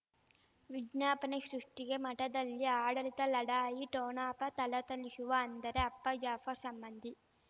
ವಿಜ್ಞಾಪನೆ ಸೃಷ್ಟಿಗೆ ಮಠದಲ್ಲಿ ಆಡಳಿತ ಲಢಾಯಿ ಠೊಣಪ ಥಳಥಳಿಸುವ ಅಂದರೆ ಅಪ್ಪ ಜಾಫರ್ ಸಂಬಂಧಿ